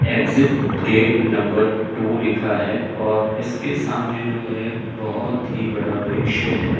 Exit gate number two लिखा है और इसके सामने जो है बहोत ही बड़ा वृक्ष है।